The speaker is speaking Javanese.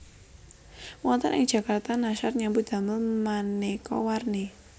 Wonten ing Jakarta Nashar nyambut damel manéka warni